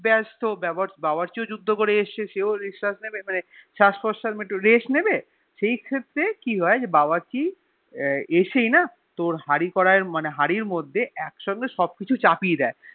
বেস্ত বাবর্চিও যুদ্দ করেছে এসেছে সেও নিঃশাস নেবে একটু রেস্ট নেবে মানে একটু Rest নেবে সেই ক্ষেত্রে কি হয়ে যে বাবর্চি এশিয়া তোর হাড়ি করায় ম্যান হারির মধ্যে একসঙ্গে সব কিচু চাপিয়ে দিয়ে